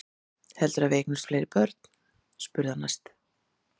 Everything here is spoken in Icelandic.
Heldurðu að við eignumst fleiri börn? spurði hann næst.